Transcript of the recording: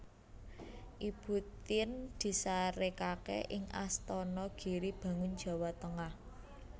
Ibu Tien disarèkaké ing Astana Giri Bangun Jawa Tengah